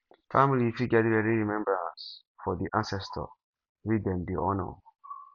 family fit get yearly remembrance for di ancestor wey dem dey honour